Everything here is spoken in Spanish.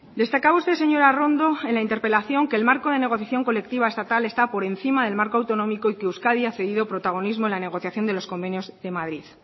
destacaba usted señora arrondo en la interpelación que el marco de negociación colectiva estatal está por encima del marco autonómico y que euskadi ha cedido protagonismo en la negociación en los convenios de madrid